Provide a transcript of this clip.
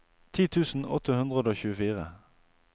ti tusen åtte hundre og tjuefire